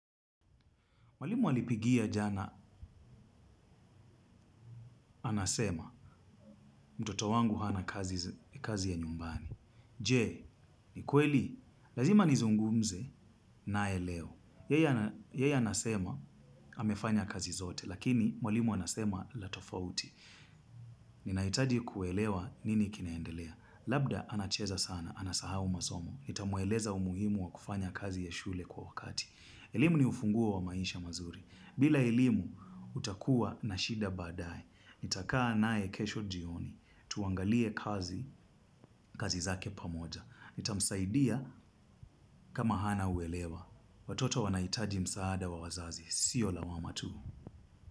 Mwalimu alipigia jana. Anasema, mtoto wangu hana kazi ya nyumbani. Je, ni kweli? Lazima nizungumze naye leo. Yeya anasema, amefanya kazi zote, lakini mwalimu anasema la tofauti. Ninahitaji kuelewa nini kinaendelea. Labda anacheza sana, anasahau masomo. Nitamweleza umuhimu wa kufanya kazi ya shule kwa wakati. Elimu ni ufunguo wa maisha mazuri. Bila elimu, utakuwa na shida baadaye. Nitakaa naye kesho jioni, tuangalie kazi, kazi zake pamoja. Nitamsaidia kama hana uelewa. Watoto wanahitaji msaada wa wazazi. Sio lawama tu.